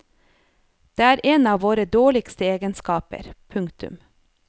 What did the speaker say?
Det er en av våre dårligste egenskaper. punktum